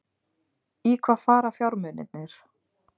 Í hvaða fara fjármunirnir?